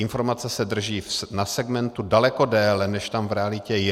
Informace se drží na segmentu daleko déle, než tam v realitě je.